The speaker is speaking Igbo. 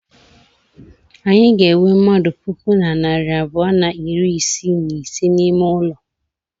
Anyị ga-enwe mmadụ puku na narị abụọ na iri isii na ise n'ime ụlọ.